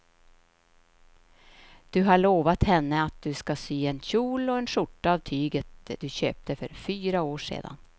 Du har lovat henne att du ska sy en kjol och skjorta av tyget du köpte för fyra år sedan.